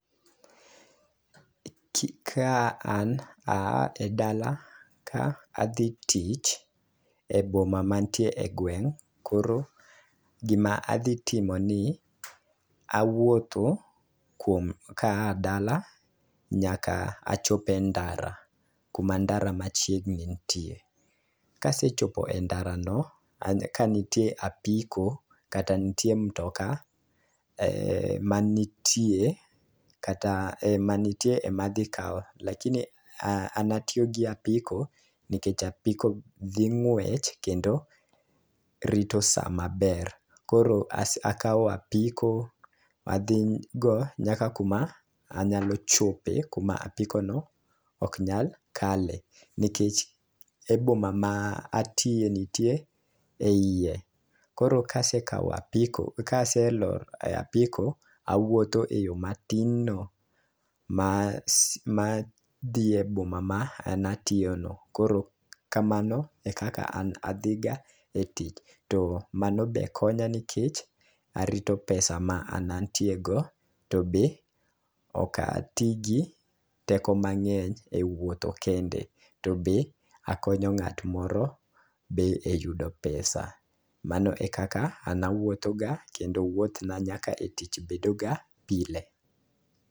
Kaka an aa e dala ka adhi tich e boma mantie e gweng', koro gima adhi timo ni awuotho kuom kaa dala nyaka achop e ndara kuma ndara machiegni ntie. Kasechope ndara no ka ntie apiko kata ntie mtoka e manitie kata e manitie madhi kawo lakini ana tiyo gi apiko nikech apike ging'wech kendo rito saa maber .Koro as akawo apiko adhi go nyaka kuma anyalo chope kuma apiko no ok nyal kale, nikech e boma ma atiye ntie e iye. Koro kasekawa apiko kaselor e apiko awuotho eyoo matin no ma ma dhi eboma ma natiyo no koro kamano e kama ana adhi ga etich to mano b e konyo nikech arito pesa ma an antie go to be ok atii gi teko mang'eny wuotho kende to be akonyo ng'at moro be e yudo pesa mano e kaka an awuotho ga kendo wuoth na nyaka e tich bedo ga pile.